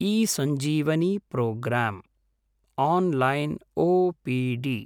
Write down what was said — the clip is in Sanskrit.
eSanjeevani programme online OPD